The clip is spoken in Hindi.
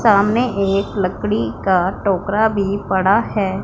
सामने एक लकड़ी का टोकरा भी पड़ा है।